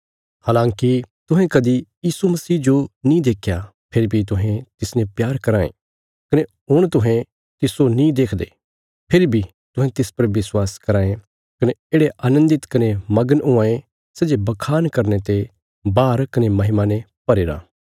हलाँकि तुहें कदी यीशु मसीह जो नीं देख्या फेरी बी तुहें तिसने प्यार कराँ ये कने हुण तुहें तिस्सो नीं देखदे फेरी बी तुहें तिस पर विश्वास कराँ ये कने येढ़े आनन्दित कने मगन हुआं ये सै जे बखान करने ते बाहर कने महिमा ने भरीरा